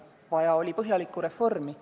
Vaja oli põhjalikku reformi.